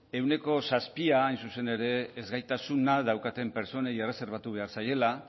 ehuneko zazpi hain zuzen ere ezgaitasuna daukaten pertsonei erreserbatu behar zaiela